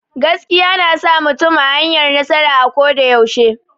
Gaskiya na sa mutum a hanyar nasara a ko da yaushe.